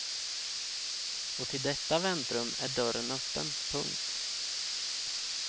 Och till detta väntrum är dörren öppen. punkt